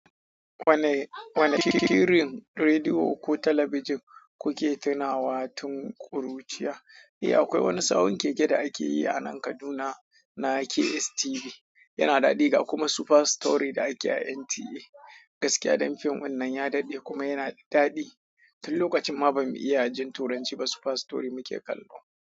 Wane, wane shirin rediyo ko talabijin kuke tunawa tun ƙuruciya? Eh, akwai wani sawun keke da ake yi a nan Kaduna na KSTV, yana daɗi ga kuma Super Story da ake a NTA. Gaskiya dan fim ɗin nan ya daɗe kuma yana da daɗi. Tin lokacin ma bamu iya jin Turanci ba, Super Story muke kallo.